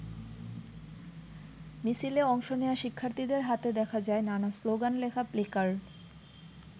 মিছিলে অংশ নেয়া শিক্ষার্থীদের হাতে দেখা যায় নানা স্লোগান লেখা প্ল্যাকার্ড।